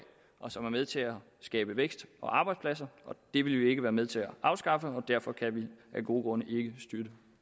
og som er med til at skabe vækst og arbejdspladser det vil vi ikke være med til at afskaffe og derfor kan vi er gode grunde ikke støtte